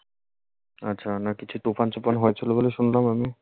আচ্ছা। না কিছু তুফান-সুফান হয়েছিলো বলে শুনলাম আমি?